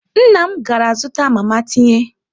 Nna m gara zụta mama tinye.